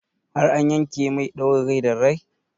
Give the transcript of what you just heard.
Har an yanke mai ɗaurin rai da rai?